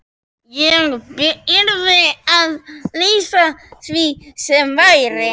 Ég yrði að lýsa því sem væri.